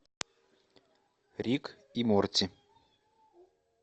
рик и морти